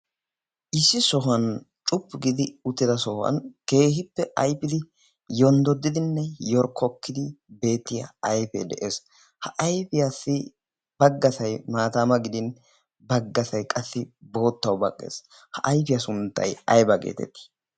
issi sohuwan cuppu gidi utteda sohuwan keehippe aifidi yonddodidinne yorkkokkidi beettiya ayf de'ees. ha ayfiyaassi baggasay maataama gidin baggasai qassi boottau baqqees. ha ayfiyaa sunttai ayba geetettii?